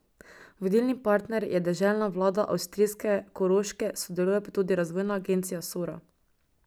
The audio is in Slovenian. Vodilni partner je deželna vlada avstrijske Koroške, sodeluje pa tudi Razvojna agencija Sora.